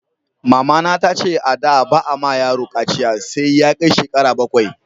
Mama na ta ce a da ba a ma yaro kaciya sai Ya kai shekara bakwai